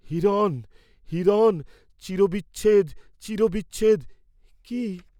হিরণ, হিরণ, চিরবিচ্ছেদ, চিরবিচ্ছেদ, কি?